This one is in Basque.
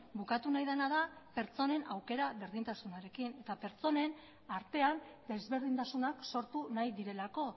bukatu nahi dena da pertsonen aukera berdintasunarekin eta pertsonen artean desberdintasunak sortu nahi direlako